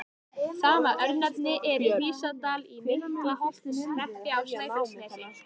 Sama örnefni er í Hrísdal í Miklaholtshreppi á Snæfellsnesi.